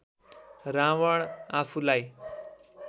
रावण आफूलाई